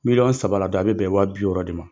Miliyɔn saba la a bɛ bɛn wa bi wɔɔrɔ de ma